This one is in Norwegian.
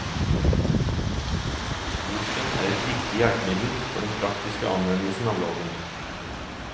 Boken er et viktig hjelpemiddel for den praktiske anvendelsen av loven.